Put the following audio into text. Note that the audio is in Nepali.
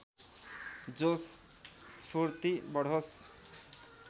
जोश स्फूर्ति बढोस्